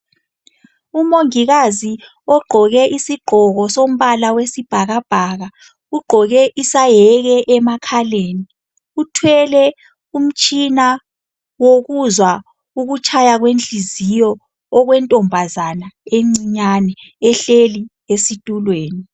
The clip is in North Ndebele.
Umongikazi ugqoke isigqoko sombala wesibhakabhaka ugqoke isayeke emakhaleni uthwele umtshina wokuzwa ukutshaya kwenhliziyo okwentombazana encinyane ehleli esitulweni